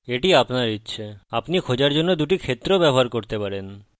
এটি আপনার ইচ্ছে আপনি খোঁজার জন্য ২টি ক্ষেত্রও ব্যবহার করতে পারেন